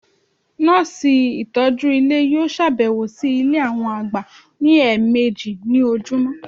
Nọ́ọ̀sì ìtọ́jú Ilé yíò sàbẹ̀wò sí Ilé àwọn àgbà ní ẹ̀ẹ̀mẹjì ní ojúmọ́